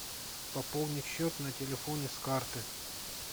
пополни счет на телефоне с карты